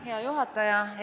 Hea juhataja!